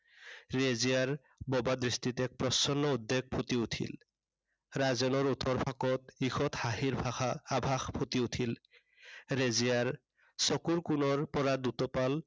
ৰেজিয়াৰ বোবা দৃষ্টিত এক প্ৰচণ্ড উদ্বেগ ফুটি উঠিল। ৰাজেনৰ ওঠৰ ফাকত ইৰ্ষৎ হাঁহিৰ ভাষা, আভাস ফুটি উঠিল। ৰেজিয়াৰ চকুৰ কোণৰ পৰা দুটুপাল